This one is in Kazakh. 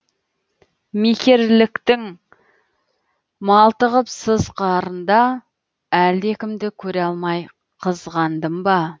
мекерліктің малтығып сыз қарында әлдекімді көре алмай қызғандым ба